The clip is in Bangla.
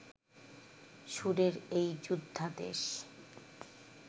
সুরের এই যোদ্ধা দেশ